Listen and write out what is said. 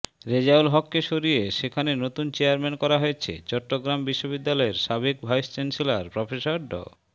রেজাউল হককে সরিয়ে সেখানে নতুন চেয়ারম্যান করা হয়েছে চট্টগ্রাম বিশ্ববিদ্যালয়ের সাবেক ভাইস চ্যান্সেলর প্রফেসর ড